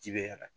Ji bɛ y'a la